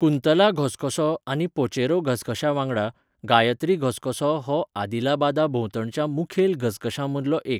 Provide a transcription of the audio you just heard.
कुंतला घसघसो आनी पोचेरा घसघश्यांवांगडा, गायत्री घसघसो हो आदिलाबादाभोंवतणच्या मुखेल घसघश्यांमदलो एक.